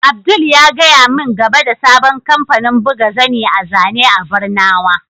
Abdul ya gaya min game da sabon kamfanin buga zani a zane a barnawa.